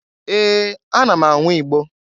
Ee! Ana m anwụ Igbo.